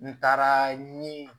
N taara ni